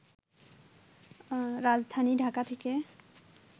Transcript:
রাজধানী ঢাকা থেকে